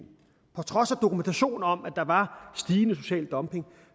på trods af dokumentation om at der var stigende social dumping